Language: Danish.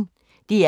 DR P1